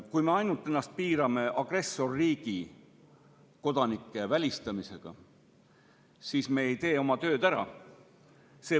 Kui me piirame ennast ainult agressorriigi kodanike välistamisega, siis me ei tee oma tööd ära.